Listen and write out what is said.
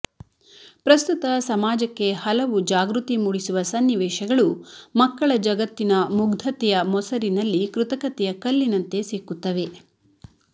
ಪ್ರಸ್ತುತ ಸಮಾಜಕ್ಕೆ ಹಲವು ಜಾಗೃತಿ ಮೂಡಿಸುವ ಸನ್ನಿವೇಶಗಳು ಮಕ್ಕಳ ಜಗತ್ತಿನ ಮುಗ್ಧತೆಯ ಮೊಸರಿನಲ್ಲಿ ಕೃತಕತೆಯ ಕಲ್ಲಿನಂತೆ ಸಿಕ್ಕುತ್ತವೆ